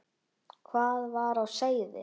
Hvað var á seyði?